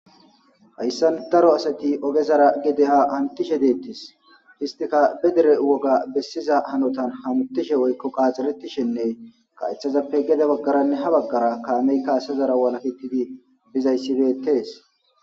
hayssan daro asati ogezara gede ha hantishe deettis histika be dere woga bessiza hanotan hamutishe woykko qaaxxiretishenne kaethazappe gede baggaranne ha baggara kaamey kaasezara walaketidi bizayssibeettees